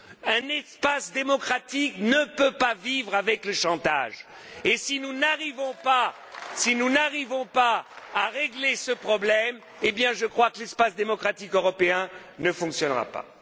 Un espace démocratique ne peut pas vivre avec le chantage, et si nous n'arrivons pas à régler ce problème, je crois que l'espace démocratique européen ne fonctionnera pas.